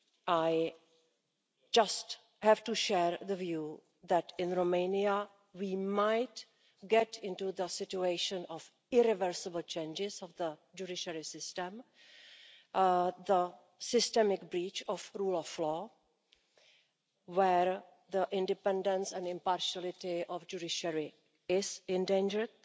I just have to share the view that in Romania we might get into the situation of irreversible changes in the judiciary system, the systemic breach of rule of law, where the independence and impartiality of the judiciary is endangered.